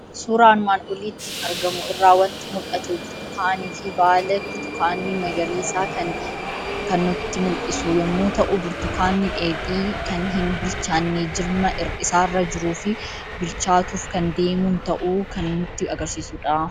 Suuraa armaan olitti argamu irraa waanti mul'atu; burtukaanifi baala burtukaani magariisa kan nutti mul'isu yommuu ta'u, burtukaani dheedhi kan hin bilchaanne jirma isaarra jirufi bilchaatuf kan deemun ta'uu kan nutti agarsiisudha.